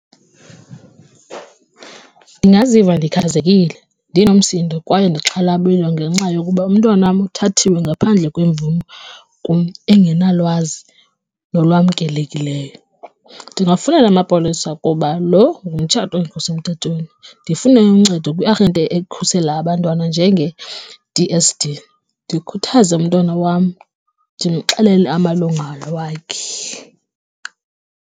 Ndingaziva ndikhathazekile, ndinomsindo kwaye ndixhalabile ngenxa yokuba umntwana wam uthathiwe ngaphandle kwemvume kum engenalwazi nolwamkelekileyo. Ndingafowunela amapolisa kuba lo ngumtshato ongekho semthethweni ndifune uncedo kwiarhente ekhusela abantwana njenge-D_S_D, ndikhuthaze umntwana wam ndimxelele amalungalo wakhe.